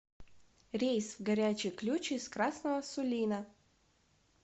рейс в горячий ключ из красного сулина